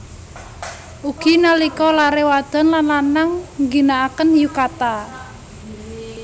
Ugi nalika laré wadon lan lanang ngginakaken yukata